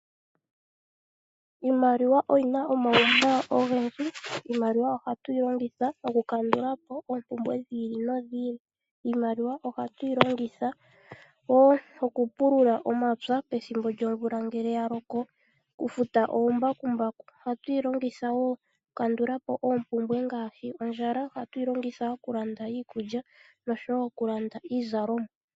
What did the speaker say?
Iimaliwa oyina omawuwanawa ogendji. Iimaliwa ohatu yilongitha okukandulapo oompumbwe dhi ili no dhi ili. Iimaliwa ohatu yilongitha wo okupulula omapya pethimbo lyomvula ngele yaloko okufuta oombakumbaku. Ohatu yilongitha wo okukandulapo oompumbwe ngaashi ondjala, ohatu yilongitha okulanda iikulya osho wo okulanda iizalomwa.